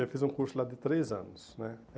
Eu fiz um curso lá de três anos, né?